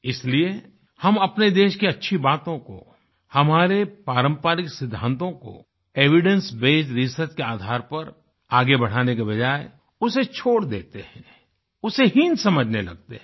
इसलिए हम अपने देश की अच्छी बातों को हमारे पारम्परिक सिद्दांतों को एविडेंस बेस्ड रिसर्च के आधार पर आगे बढ़ाने के बजाय उसे छोड़ देते हैं उसे हीन समझने लगते हैं